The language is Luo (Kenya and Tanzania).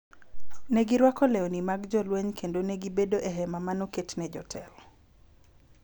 ne girwako lewni mag jolweny kendo ne gibedo e hema ma ne oket ne jotelo.